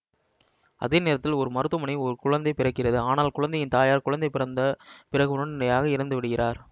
அதே நேரத்தில் ஒரு மருத்துவமனையில் ஒரு குழந்தை பிறக்கிறது ஆனால் குழந்தையின் தாயார் குழந்தை பிறந்த பிறகு உடனடியாக இறந்து விடுகிறார்